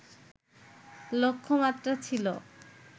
লক্ষ্যমাত্রা ছিল